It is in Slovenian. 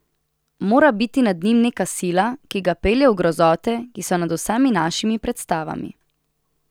Mora biti nad njim neka sila, ki ga pelje v grozote, ki so nad vsemi našimi predstavami.